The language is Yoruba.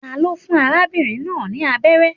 Ta ló fún arábìnrin náà ni abẹ́rẹ́?